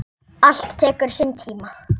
Allt tekur sinn tíma.